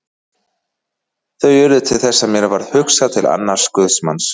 Þau urðu til þess að mér varð hugsað til annars guðsmanns.